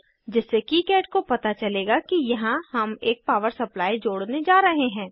जिससे किकाड को पता चलेगा कि यहाँ हम एक पावर सप्लाई जोड़ने जा रहे हैं